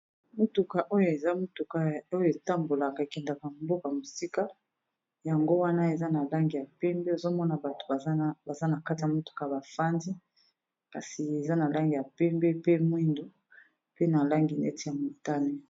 motuka oyo eza motuka oyo etambolaka ekendeka mboka mosika yango wana eza na langi ya pembe ozomona bato baza na katia motuka bafandi kasi eza na langi ya pembe pe mwindo pe na langi neti ya montane